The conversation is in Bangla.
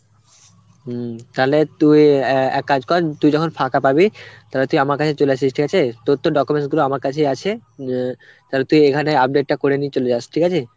হম, তালে তুই অ্যাঁ এক কাজ কর, তুই যখন ফাঁকা পাবি তালে তুই আমার কাছে চলে আসিস, ঠিক আছে? তোর তো documents গুলো আমার কাছেই আছে অ্যাঁ তালে তুই এখানে update টা করে নিয়ে চলে যাস, ঠিক আছে?